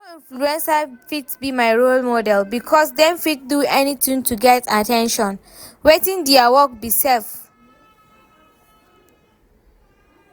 No influencer fit be my role model because dem fit do anything to get at ten tion, wetin dia work be sef?